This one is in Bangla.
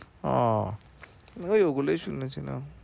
ওহ ওই ওগুলোই শুনেছিলাম